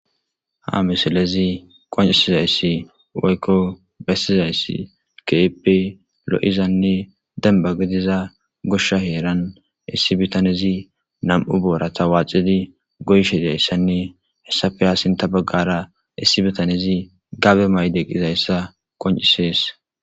Ha misilezi qoncisizayssi waykko bestizayssi keepe lo'zanne dembagediza goshsha heeran issibitanezi na'mu boorata waacidi goyshedayisanne hessafe aasinta baggara issibitanezi gabe mayde qizayssa qoncisees